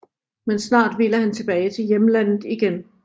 Men snart ville han tilbage til hjemlandet igen